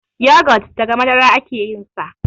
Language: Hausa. yogot daga Madara ake yinsa